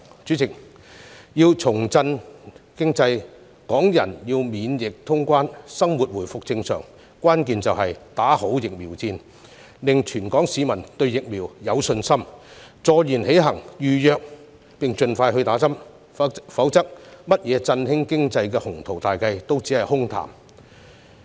主席，要重振經濟，港人要免疫通關，生活回復正常，關鍵就是打好疫苗戰，令全港市民對疫苗有信心，坐言起行，預約並盡快接種疫苗，否則甚麼振興經濟的鴻圖大計也只是空談。